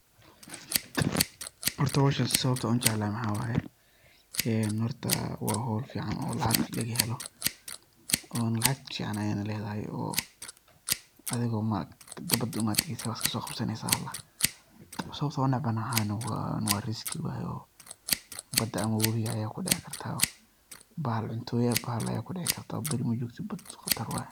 Horta hoshan sababta ujeclahay maxa waye wa hol fican oo lacag laga helo ona lacag fican ayay ledahay, bada aya tageysa wad iska so qabsaneysa sababta unec bahay na wa riski. Wayo bada ama wowiga ayad kudici karta bahal cuntoya, bahal ayad kudici karta bariga majogtit bada qatar waye.